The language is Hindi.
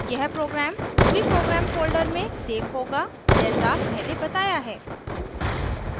यह प्रोग्राम ruby program फोल्डर में सेव होगा जैसा पहले बताया है